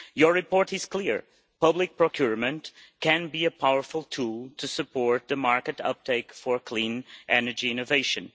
Your report is clear public procurement can be a powerful tool to support the market uptake for clean energy innovation.